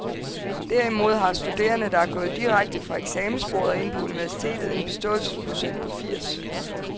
Derimod har studerende, der er gået direkte fra eksamensbordet og ind på universitetet, en beståelsesprocent på firs.